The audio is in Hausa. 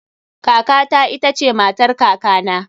Kaka ta ita ce matar kakana